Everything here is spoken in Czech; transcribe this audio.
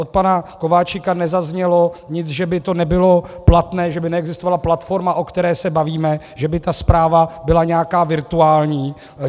Od pana Kováčika nezaznělo nic, že by to nebylo platné, že by neexistovala platforma, o které se bavíme, že by ta zpráva byla nějaká virtuální.